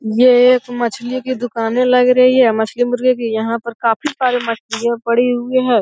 ये एक मछली की दुकाने लग रही है मछली मुर्गे की यहां पे काफी सारी मछलियां परी हुई हैं।